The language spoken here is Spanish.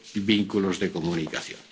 vínculos de comunicación.